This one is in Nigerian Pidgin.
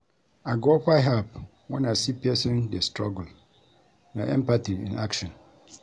I go offer help when I see pesin dey struggle; na empathy in action.